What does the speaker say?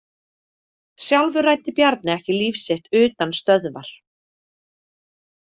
Sjálfur ræddi Bjarni ekki líf sitt utan stöðvar.